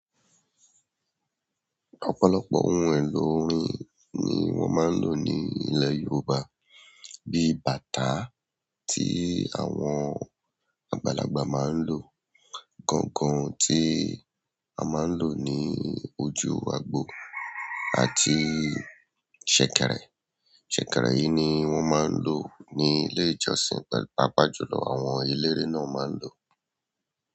Ọ̀pọ̀lọpọ̀ ohun èlò orin ni wọ́n máa ń lò ní ilẹ̀ Yorùbá bíi bàtá tí àwọn àgbàlagbà máa ń lò, gángan tí a máa ń lò ní ojú agbo àti ṣẹ̀kẹ̀rẹ̀. Ṣẹ̀kẹ̀rẹ̀ yìí ni wọ́n máa ń lò ní ilé ìjọsìn, pàápàá jùlọ àwọn eléré náà máa ń lò.